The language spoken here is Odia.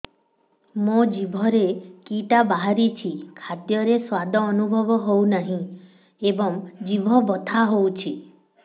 ମୋ ଜିଭରେ କିଟା ବାହାରିଛି ଖାଦ୍ଯୟରେ ସ୍ୱାଦ ଅନୁଭବ ହଉନାହିଁ ଏବଂ ଜିଭ ବଥା ହଉଛି